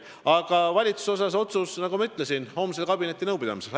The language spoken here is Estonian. Aga valitsuse otsus, nagu ma ütlesin, tuleb homsel kabinetinõupidamisel.